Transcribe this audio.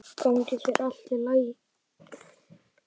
Gangi þér allt í haginn, Skugga.